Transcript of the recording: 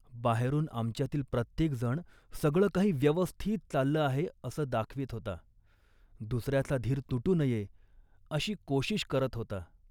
बाहेरून आमच्यातील प्रत्येकजण सगळं काही व्यवस्थित चाललं आहे असं दाखवीत होता. दुसऱ्याचा धीर तुटू नये अशी कोशीश करीत होता